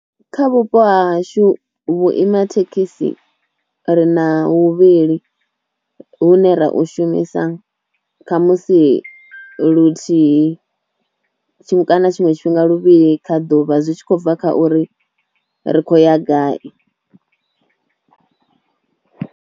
Kha vhupo ha hashu vhuima thekhisi ri na huvhili hune ra u shumisa kha musi luthihi, thimu kana tshiṅwe tshifhinga luvhili kha ḓuvha zwi tshi khou bva kha uri ri khou ya gai.